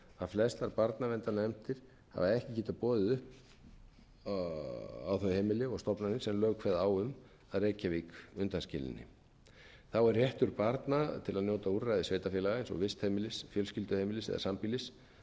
flestar barnaverndarnefndir hafa ekki getað boðið upp á þau heimili og stofnanir sem lög kveða á um að reykjavík undanskilinni þá er réttur barna til að njóta úrræðis sveitarfélaga eins og vistheimilis fjölskylduheimilis eða